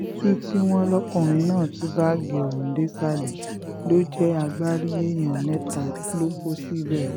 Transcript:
títù tí wọ́n lọ́kùnrin náà tú báàgì ọ̀hún désàlẹ̀ ló jẹ́ agbárí èèyàn mẹ́ta ló kó síbẹ̀